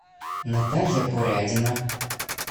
наталья порядина